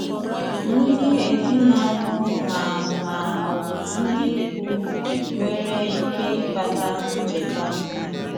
Ndị̀ èzìnàlụ̀ mà mà ọ̀bụ̀ ndị̀ ìkwù (nwèrè ike ịkpàtà nchekàsị̀.